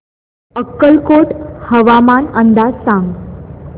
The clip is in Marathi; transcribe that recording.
अक्कलकोट हवामान अंदाज सांग